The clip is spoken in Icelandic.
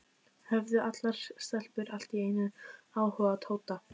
Höfðu allar stelpur allt í einu áhuga á Tóta?